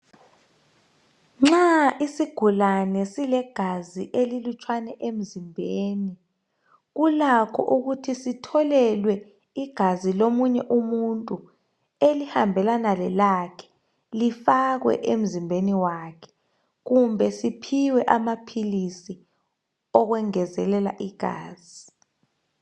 Nxa isigulane silegazi elilutshwane emzimbeni kulakho ukuthi sitholelwe igazi lomunye umuntu elihambelana lelakhe. Lifakwe emzimbeni wakhe kumbe siphiwe amaphilizi okwengezelela igazi.